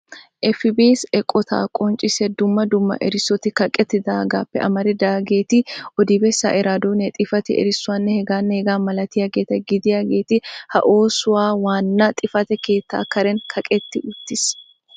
'FBC' eqqota qonccissiya dumma dumma erissoti kaqqetidaagappe amaridaageeti odi-bessaa, Iraaddoniyaa, xifate erissuwanne heganne hegaa malatiyaageeta gidiyaageeti ha oosuwaa waana xifaate keettan karen kaqqetti uttiis.